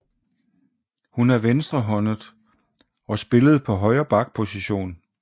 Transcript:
Hun er venstrehåndet og spillede på højre back position